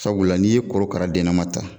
Sabula n'i ye korokara dennama ta